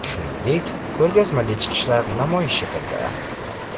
Shuningdek, ko‘rgazmali chiqishlar namoyish etildi.